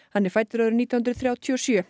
hann er fæddur árið nítján hundruð þrjátíu og sjö